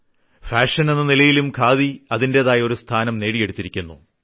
fashion എന്ന നിലയിലും ഖാദി അതിന്റേതായ ഒരു സ്ഥാനം നേടിയെടുത്തിരിക്കുന്നു